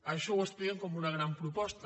això ho expliquen com una gran proposta